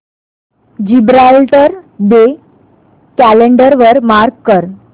Gibraltar day calendar वर mark कर